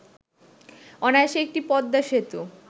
অনায়াসে একটি পদ্মা সেতু